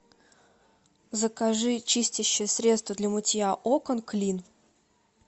закажи чистящее средство для мытья окон клин